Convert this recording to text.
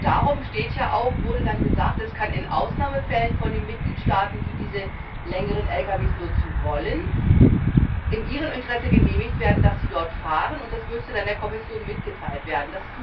Darum wurde gesagt, es kann in Ausnahmefällen von den Mitgliedstaaten, die diese längeren Lkw nutzen wollen, in ihrem Interesse genehmigt werden, dass sie dort fahren, und das müsse der Kommission mitgeteilt werden.